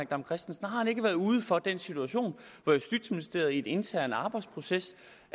dam kristensen om ikke været ude for den situation at justitsministeriet i en intern arbejdsproces